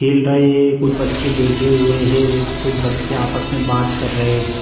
हिल रहे हैं | कुछ बच्चे बैठे हुए हैं कुछ बच्चे आपस में बात कर रहे हैं |